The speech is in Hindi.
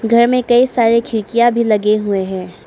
घर में कई सारे खिड़कियां भी लगे हुए हैं।